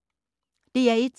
DR1